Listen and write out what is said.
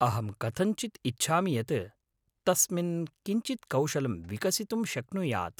अहं कथञ्चित् इच्छामि यत् तस्मिन् किञ्चित् कौशलं विकसितुं शक्नुयात्।